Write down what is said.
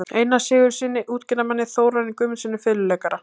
Einari Sigurðssyni útgerðarmanni, Þórarni Guðmundssyni fiðluleikara